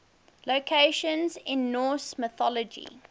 locations in norse mythology